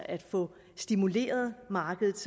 at få stimuleret markedet